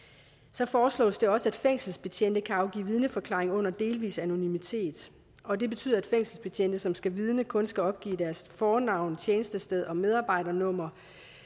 så foreslås det også at fængselsbetjente kan afgive vidneforklaring under delvis anonymitet og det betyder at fængselsbetjente som skal vidne kun skal opgive deres fornavn tjenestested og medarbejdernummer